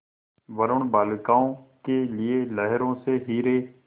वरूण बालिकाओं के लिए लहरों से हीरे